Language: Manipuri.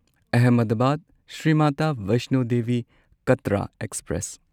ꯑꯍꯃꯦꯗꯕꯥꯗ ꯁ꯭ꯔꯤ ꯃꯇꯥ ꯚꯥꯢꯁ꯭ꯅꯣ ꯗꯦꯚꯤ ꯀꯥꯇ꯭ꯔ ꯑꯦꯛꯁꯄ꯭ꯔꯦꯁ